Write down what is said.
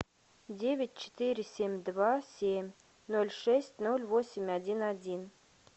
девять четыре семь два семь ноль шесть ноль восемь один один